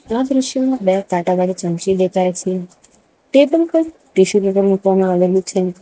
આ દ્રશ્યમાં બે કાંટાવાળી ચમચી દેખાય છે ટેબલ પર ટીસ્યુ પેપર મૂકવામાં આવેલું છે.